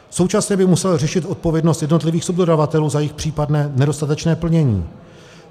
Současně by musel řešit odpovědnost jednotlivých subdodavatelů za jejich případné nedostatečné plnění.